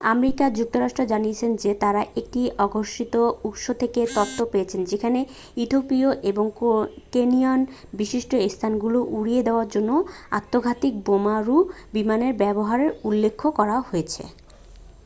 "America যুক্তরাষ্ট্র জানিয়েছে যে তারা একটি অঘোষিত উৎস থেকে তথ্য পেয়েছে যেখানে ইথিওপিয়া এবং কেনিয়ার "বিশিষ্ট স্থানগুলি" উড়িয়ে দেওয়ার জন্য আত্মঘাতী বোমারু বিমানের ব্যবহারের উল্লেখ করা হয়েছে।